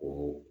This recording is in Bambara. O